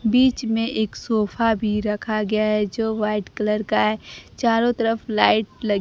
बीच में एक सोफा भी रखा गया है जो वाइट कलर का है चारों तरफ लाइट लगी--